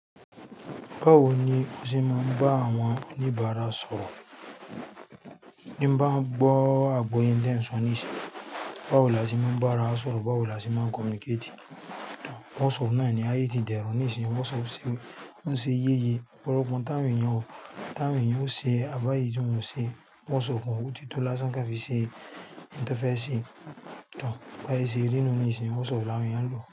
Báwo ni o ṣe máa ń bá àwọn oníbàárà sọ̀rọ̀? Bí n bá ń gbọ́ àgbo yẹ n ten so ni sin báwo la ṣe máa ń bá ará wa sọ̀rọ̀? Báwo la ṣe máa ń communicate? WhatsApp noni ayé ti dẹrùn nísin, WhatsApp ńṣe yeye ọ̀pọ̀lọpọ̀ nta'wọn èèyàn ose àbí èyí tí wọn ò ṣe whatsapp ó ti tó lásán kan fi ṣe nte fẹ́ sẹ̀ tor, báyé ṣe rí nínú ní ìsin WhatsApp làwọn ènìyàn ń lò.